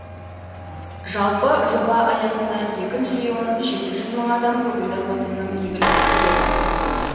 жалпы жоба аясында екі миллион жеті жүз мың адам көгілдір отынның игілігін көреді